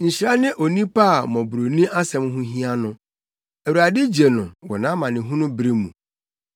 Nhyira ne onipa a mmɔborɔni asɛm ho hia no; Awurade gye no wɔ amanehunu bere mu.